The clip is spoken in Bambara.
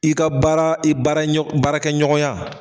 I ka baara i baara ɲɔ baarakɛ ɲɔgɔnya